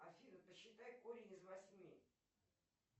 афина посчитай корень из восьми